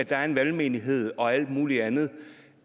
er en valgmenighed og alt muligt andet